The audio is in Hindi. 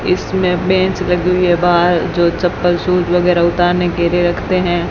इसमें बेंच लगी हुई है बाहर जो चप्पल शूज वगैरा उतारने के लिए रखते हैं।